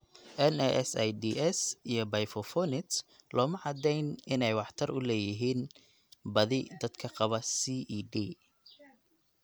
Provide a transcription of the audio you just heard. NSAIDs iyo bifosphonates looma caddayn inay waxtar u leeyihiin badi dadka qaba CED.